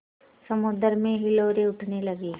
समुद्र में हिलोरें उठने लगीं